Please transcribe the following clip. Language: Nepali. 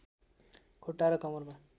खुट्टा र कमरमा